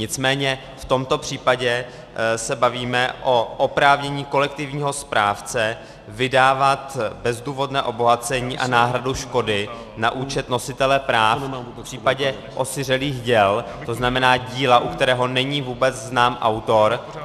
Nicméně v tomto případě se bavíme o oprávnění kolektivního správce vydávat bezdůvodné obohacení a náhradu škody na účet nositele práv v případě osiřelých děl, to znamená díla, u kterého není vůbec znám autor.